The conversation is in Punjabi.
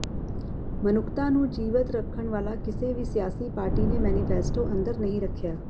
ਮਨੁੱਖਤਾ ਨੂੰ ਜੀਵਤ ਰੱਖਣ ਵਾਲਾ ਕਿਸੇ ਵੀ ਸਿਆਸੀ ਪਾਰਟੀ ਨੇ ਮੈਨੀਫ਼ੈਸਟੋ ਅੰਦਰ ਨਹੀਂ ਰਖਿਆ